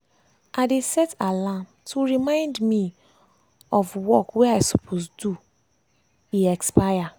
i dey set alarm to remind me of remind me of work wey i suppose do e expire.